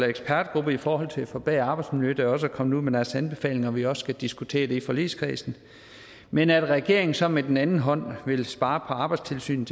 ekspertgruppe i forhold til at forbedre arbejdsmiljøet der også er kommet ud med deres anbefalinger og at vi også skal diskutere det i forligskredsen men at regeringen så med den anden hånd til vil spare på arbejdstilsynet